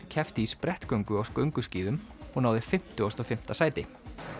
keppti í sprettgöngu á gönguskíðum og náði fimmtíu og fimm sæti